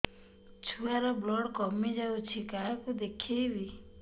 ଛୁଆ ର ବ୍ଲଡ଼ କମି ଯାଉଛି କାହାକୁ ଦେଖେଇବି